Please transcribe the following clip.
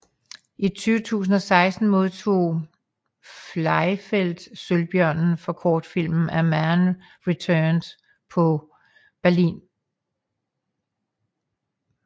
I 2016 modtog Fleifel Sølvbjørnen for kortfilmen A Man Returned på Berlinalen